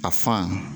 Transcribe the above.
A fan